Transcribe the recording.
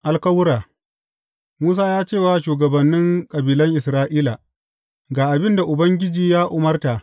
Alkawura Musa ya ce wa shugabannin kabilan Isra’ila, Ga abin da Ubangiji ya umarta.